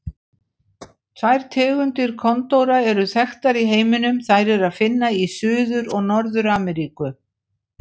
Tvær tegundir kondóra eru þekktar í heiminum, þær er að finna í Suður- og Norður-Ameríku.